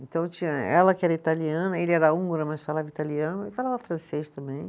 Então tinha ela que era italiana, ele era húngaro, mas falava italiano, e falava francês também.